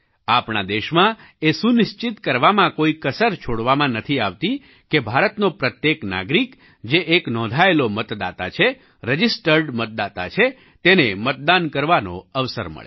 આપણા દેશમાં એ સુનિશ્ચિત કરવામાં કોઈ કસર છોડવામાં નથી આવતી કે ભારતનો પ્રત્યેક નાગરિક જે એક નોંધાયેલો મતદાતા છે રજિસ્ટર્ડ મતદાતા છે તેને મતદાન કરવાનો અવસર મળે